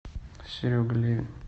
серега левин